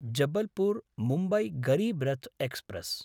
Jabalpur Mumbai Garib Rath express